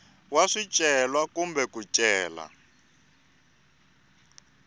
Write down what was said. wa swicelwa kumbe ku cela